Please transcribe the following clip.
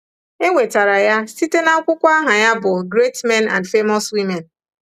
E nwetara ya site n’akwụkwọ aha ya bụ́ Great Men and Famous Women.